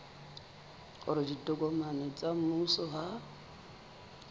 hore ditokomane tsa mmuso ha